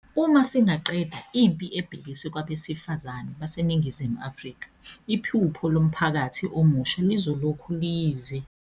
Uma singaqeda impi ebhekiswe kwabesifazane baseNingizimu Afrika, iphupho lomphakathi omusha lizolokhu liyize leze.